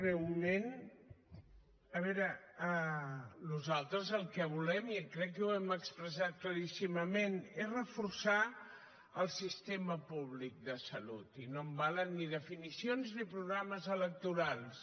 breument a veure nosaltres el que volem jo crec que ho hem expressat claríssimament és reforçar el sistema públic de salut i no em valen definicions ni programes electorals